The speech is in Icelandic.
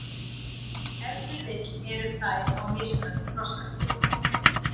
Ef til vill eru þær á mismunandi þroskaskeiði.